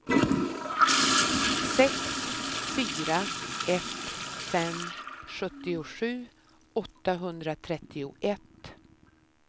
sex fyra ett fem sjuttiosju åttahundratrettioett